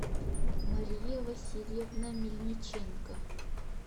мария васильевна мельниченко